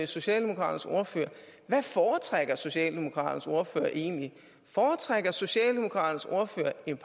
socialdemokraternes ordfører hvad foretrækker socialdemokraternes ordfører egentlig foretrækker socialdemokraternes ordfører en